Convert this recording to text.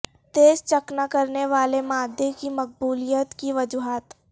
تیز چکنا کرنے والے مادے کی مقبولیت کی وجوہات